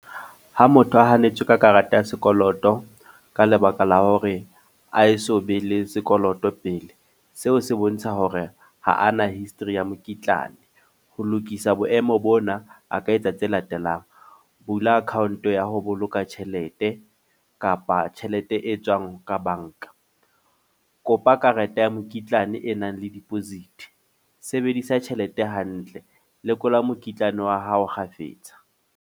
Ha motho a hanetswe ka karata ya sekoloto, ka lebaka la hore a e so be le sekoloto pele. Seo se bontsha hore ha ana history ya mokitlane. Ho lokisa boemo bona, a ka etsa tse latelang. Bula account ya ho boloka tjhelete, kapa tjhelete e tswang ka banka. Kopa karete ya mokitlane e nang le diposit. Sebedisa tjhelete hantle. Lekola mokitlane wa hao kgafetsa.